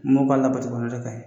Mɔ mɔgɔw b'a labato o de ka ɲi